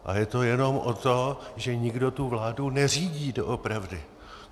A je to jenom o tom, že nikdo tu vládu neřídí doopravdy.